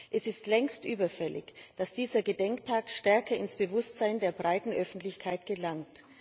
Es ist längst überfällig, dass dieser Gedenktag stärker ins Bewusstsein der breiten Öffentlichkeit gelangt.